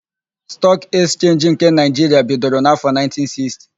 Stọọk Ekchenji nke Naịjiria bidoro n'áfọ,1960.